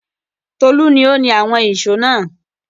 Tolú ni ó ni àwọn ìṣó náà.